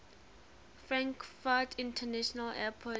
frankfurt international airport